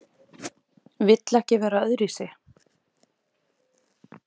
Vill ekki vera öðruvísi.